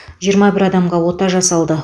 жиырма бір адамға ота жасалды